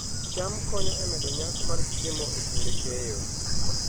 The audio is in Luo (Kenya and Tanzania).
cham konyo e medo nyak mar chiemo e kinde keyo